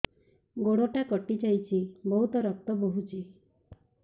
ଗୋଡ଼ଟା କଟି ଯାଇଛି ବହୁତ ରକ୍ତ ବହୁଛି